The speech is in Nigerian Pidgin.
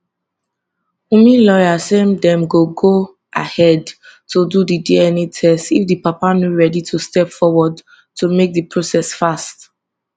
wunmi lawyer say dem go go ahead to do di dna test if di papa no ready to step forward to make di process fast